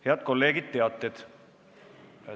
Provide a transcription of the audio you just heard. Head kolleegid, nüüd teated.